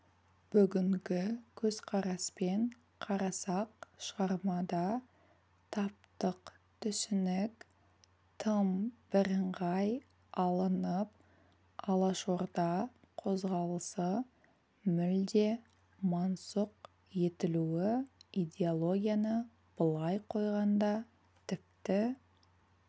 бүгінгі көзқараспен қарасақ шығармада таптық түсінік тым бірыңғай алынып алашорда қозғалысы мүлде мансұқ етілуі идеологияны былай қойғанда тіпті